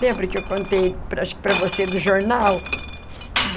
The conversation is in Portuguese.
Lembra que eu contei para acho que para você do jornal?